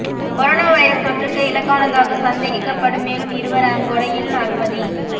corona virus தொற்றுக்கு இலக்கானதாக சந்தேகிக்கப்படும் மேலும் இருவர் அங்கொடையில் அனுமதி